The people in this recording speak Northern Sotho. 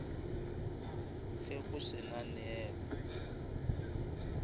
ge go se na neela